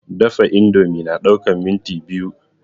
Dafa indomie na ɗaukan minti biyu